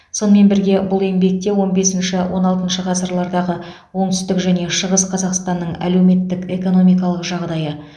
сонымен бірге бұл еңбекте он бесінші он алтыншы ғасырлардағы оңтүстік және шығыс қазақстанның әлеуметтік экономикалық жағдайы